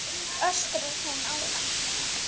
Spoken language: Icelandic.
öskrar hún á hann.